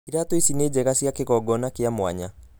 Iratũ ici ni njega cia kigongona kĩa mwanya.